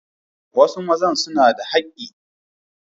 Wasu mazan suna da haki.